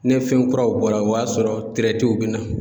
Ne fɛn kuraw bɔra o y'a sɔrɔ bɛ na.